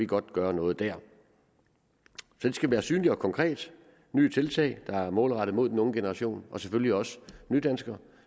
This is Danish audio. godt gøre noget der det skal være synligt og konkret nye tiltag der er målrettet mod den unge generation og selvfølgelig også nydanskere